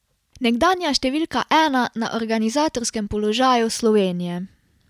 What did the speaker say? Nekdanja številka ena na organizatorskem položaju Slovenije.